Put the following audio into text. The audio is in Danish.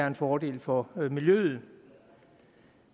en fordel for miljøet